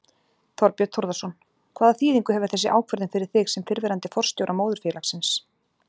Þorbjörn Þórðarson: Hvaða þýðingu hefur þessi ákvörðun fyrir þig sem fyrrverandi forstjóra móðurfélagsins?